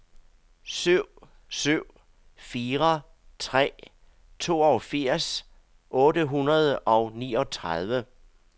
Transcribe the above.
syv syv fire tre toogfirs otte hundrede og niogtredive